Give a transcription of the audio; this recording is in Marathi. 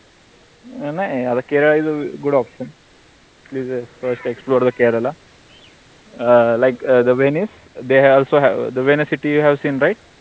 नाई Kerala isgoodoption toexplorethe Kerala um like um the Venice they also have the Venice cityhaveseenby